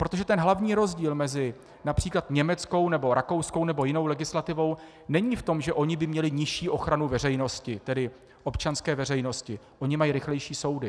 Protože ten hlavní rozdíl mezi například německou nebo rakouskou nebo jinou legislativou není v tom, že oni by měli nižší ochranu veřejnosti, tedy občanské veřejnosti - oni mají rychlejší soudy.